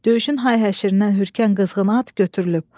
Döyüşün hay-həşirindən hürkən qızğın at götürülüb.